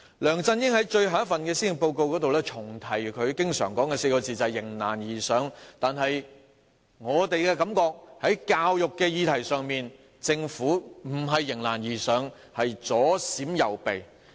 梁振英在最後一份施政報告重提他經常說的4個字，就是"迎難而上"，但在教育的議題上，我們覺得政府並非迎難而上，而是左閃右避。